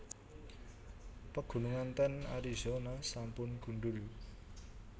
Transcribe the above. Pegunungan ten Arizona sampun gundhul